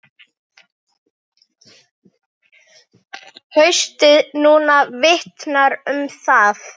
Haustið núna vitnar um það.